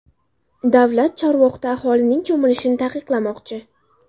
Davlat Chorvoqda aholining cho‘milishini taqiqlamoqchi.